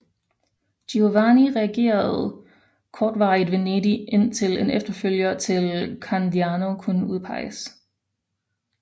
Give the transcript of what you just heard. Giovanni regerede kortvarigt Venedig indtil en efterfølger til Candiano kunne udpeges